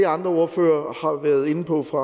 andre ordføreren har været inde på fra